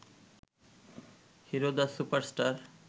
hero the super star